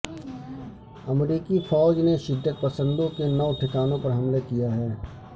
امریکی فوج نے شدت پسندوں کے نو ٹھکانوں پر حملہ کیا ہے